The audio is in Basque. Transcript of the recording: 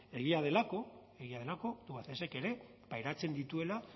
egia delako egia delako tubacexek ere pairatzen dituela